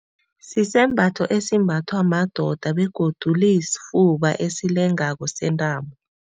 Sisembatho esimbathwa madoda begodu le esifuba esilengako sentambo.